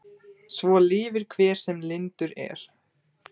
Svo lifir hver sem lyndur er.